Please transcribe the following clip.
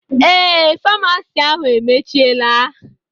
Eé, faamasi ahu emechiela